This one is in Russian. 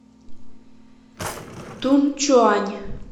тунчуань